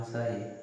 Masa ye